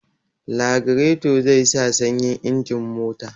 Lagireto zai sa sanyin injin mota